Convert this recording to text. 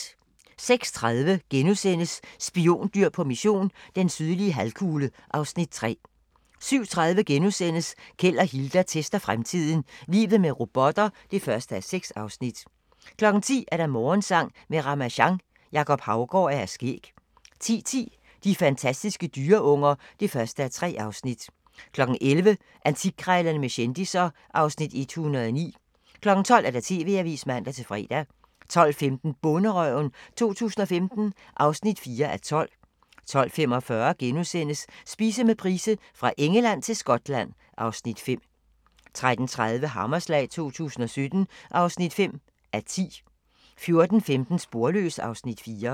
06:30: Spiondyr på mission - den sydlige halvkugle (Afs. 3)* 07:30: Keld og Hilda tester fremtiden - Livet med robotter (1:6)* 10:00: Morgensang med Ramasjang | Jacob Haugaard og Hr. Skæg 10:10: De fantastiske dyreunger (1:3) 11:00: Antikkrejlerne med kendisser (Afs. 109) 12:00: TV-avisen (man-fre) 12:15: Bonderøven 2015 (4:12) 12:45: Spise med Price - Fra Engeland til Skotland (Afs. 5)* 13:30: Hammerslag 2017 (5:10) 14:15: Sporløs (Afs. 4)